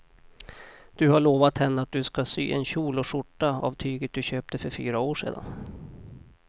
Du har lovat henne att du ska sy en kjol och skjorta av tyget du köpte för fyra år sedan.